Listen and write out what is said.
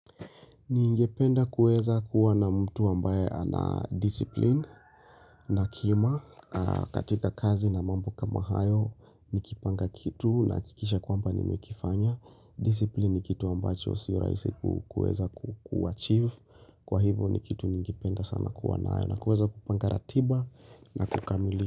Ningependa kuweza kuwa na mtu ambaye ana discipline na kima katika kazi na mambo kama hayo nikipanga kitu nahakikisha kwamba nimekifanya Discipline ni kitu ambacho si rahisi kuweza kuarchive kwa hivyo ni kitu ningependa sana kuwa nayo na kuweza kupanga ratiba na kukamili.